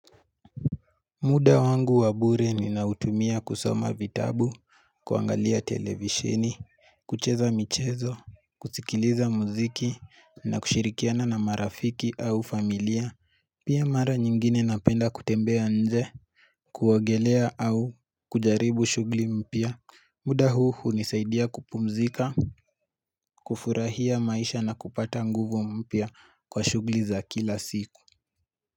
Muda wangu wabure ninautumia kusoma vitabu, kuangalia televisheni, kucheza michezo, kusikiliza muziki na kushirikiana na marafiki au familia, pia mara nyingine napenda kutembea nje, kuogelea au kujaribu shughuli mpya. Muda huu hunisaidia kupumzika, kufurahia maisha na kupata nguvu mpya kwa shughuli za kila siku.